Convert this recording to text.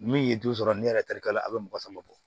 Min ye du sɔrɔ ni ne yɛrɛ tarikala a bɛ mɔgɔ sama bɔ